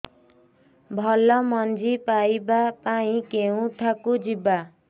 ଭଲ ମଞ୍ଜି ପାଇବା ପାଇଁ କେଉଁଠାକୁ ଯିବା